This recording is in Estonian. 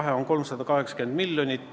Vahe on 380 miljonit.